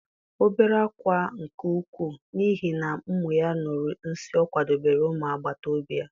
O bere ákwá nke ukwuu, n'ihi na ụmụ ya ṅụrụ nsịị ọ kwadebere ụmụ agbata obi ya.